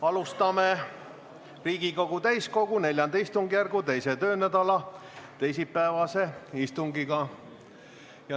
Alustame Riigikogu täiskogu IV istungjärgu teise töönädala teisipäevast istungit.